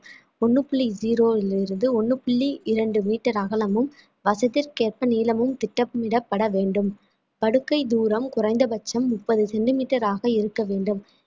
ஒண்ணு புள்ளி zero ங்கிறது ஒண்ணு புள்ளி இரண்டு metre அகலமும் வசதிக்கேற்ப நீளமும் திட்டமிடப்பட வேண்டும் படுக்கை தூரம் குறைந்தபட்சம் முப்பது centimetre ஆக இருக்க வேண்டும்